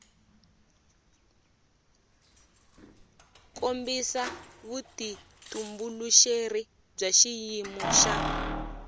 kombisa vutitumbuluxeri bya xiyimo xa